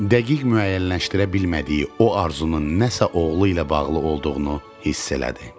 Dəqiq müəyyənləşdirə bilmədiyi o arzunun nəsə oğlu ilə bağlı olduğunu hiss elədi.